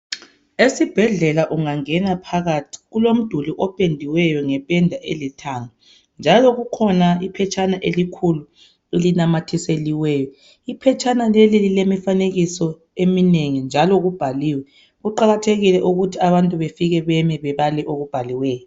Esibhedlela ungangena phakathi kulomduli opendiweyo ngependa elithanga njalo kukhona iphetshana elikhulu elinamathiseliweyo . Iphetshana leli lile mifanekiso eminengi njalo kubhaliwe. Kuqakathekile ukuthi abantu befike name bebale okubhaliweyo.